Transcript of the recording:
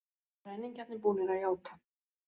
Ræningjarnir búnir að játa